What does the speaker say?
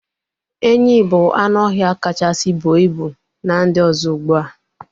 Enyi bu anụ ọhịa kachasị buo ibu n'ndi ọzọ ugbua